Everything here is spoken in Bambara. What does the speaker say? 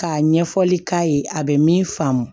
K'a ɲɛfɔli k'a ye a bɛ min faamu